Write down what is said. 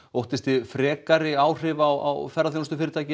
óttist þið frekari áhrif á ferðaþjónustufyrirtæki